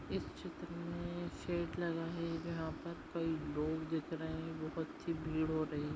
इस चित्र मे शेड लगा है जहा पर कही लोग दिख रहे है बहुत सी भीड़ हो रही।